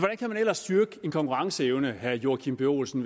kan man ellers styrke en konkurrenceevne hvis herre joachim b olsen